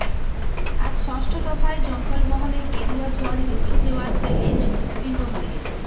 আজ ষষ্ঠ দফায় জঙ্গলমহলে গেরুয়া ঝড় রুখে দেওয়ার চ্যালেঞ্জ তৃণমূলের